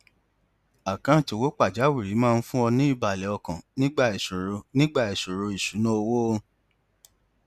àkáǹtì owó pàjáwìrì máa ń fún ọ ní ìbàlẹ ọkàn nígbà ìṣòro nígbà ìṣòro ìṣúnná owó